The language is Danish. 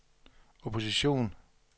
opposition